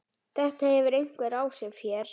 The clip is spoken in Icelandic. Þetta hefur einhver áhrif hér.